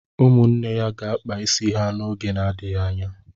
Ụmụnne ya ga-akpa isi ha n'oge na-adịghị anya.